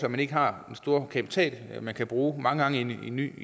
at man ikke har den store kapital man kan bruge mange gange i en ny